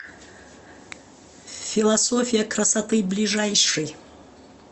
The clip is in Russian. философия красоты ближайший